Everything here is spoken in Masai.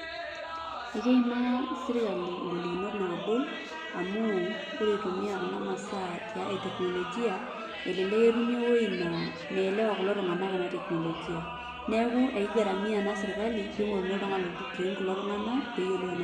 Ekeimaa serkali ngolikinot naagol amuu ore eitumiya kuna masaa e teknolojia, elelek etumi ewueji naa meelewa kulo tunganak ena teknolojia neeku ekeigaramia ena serkali pee eingoruni oltungani olotu aiutureen kulo tunganak pee eyiolou.